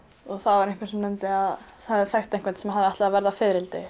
það var einhver sem nefndi að hann þekkti einhvern sem ætlaði að verða fiðrildi